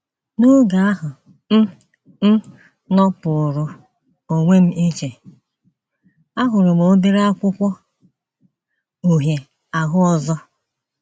N’oge ahụ m m nọpụụrụ onwe m iche, ahụrụ m obere akwụkwọ uhie ahụ ọzọ.